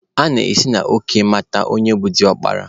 A na-esi n'òkè amata onye bụ diọkpara